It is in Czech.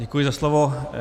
Děkuji za slovo.